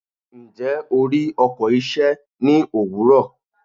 Ǹjẹ́, o rí ọkọ̀ iṣẹ́ ní òwúrọ̀?